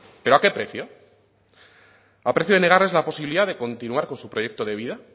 pero a qué precio a precio de negarles la posibilidad de continuar con su proyecto de vida